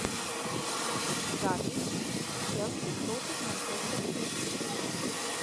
запись челси против манчестер сити